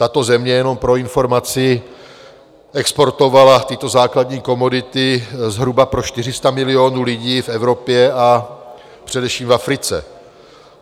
Tato země, jenom pro informaci, exportovala tyto základní komodity zhruba pro 400 milionů lidí v Evropě, a především v Africe.